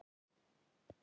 Mér leiðist líka.